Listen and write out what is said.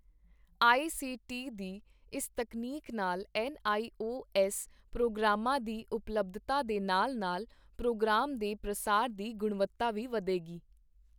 ਆਈ C T ਦੀ ਇਸ ਤਕਨੀਕ ਨਾਲ ਐੱਨ ਆਈ ਓ ਐੱਸ ਪ੍ਰੋਗਰਾਮਾਂ ਦੀ ਉਪਲੱਬਧਤਾ ਦੇ ਨਾਲ-ਨਾਲ ਪ੍ਰੋਗਰਾਮ ਦੇ ਪ੍ਰਸਾਰ ਦੀ ਗੁਣਵੱਤਾ ਵੀ ਵਧੇਗੀ।